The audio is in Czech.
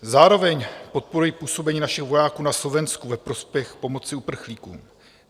Zároveň podporuji působení našich vojáků na Slovensku ve prospěch pomoci uprchlíkům.